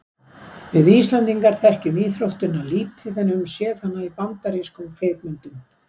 Við Íslendingar þekkjum íþróttina lítið en höfum séð hana í bandarískum kvikmyndum.